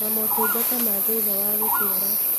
Na motungata ma thutha wa gũciara